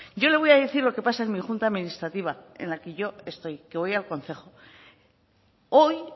yo le voy a decir lo que pasa en mi junta administrativa en la que yo estoy que voy al concejo hoy